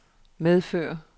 medfører